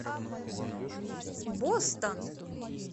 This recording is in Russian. бостон